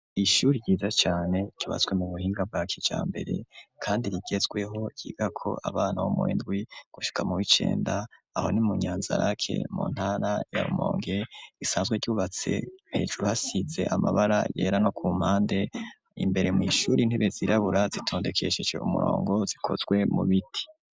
Ishuri ryiza cane ryubatswe mu buhinga bwa kijambere kandi rigezweho ryigako abana bo muwindwi gushika mu w'icenda aho ni mu Nyanzarake mu ntara ya Rumonge risanzwe ryubatse hejuru hasize amabara yera no ku mpande, imbere mw'ishuri intebe zirabura zitondekesheje umurongo zikozwe mu biti.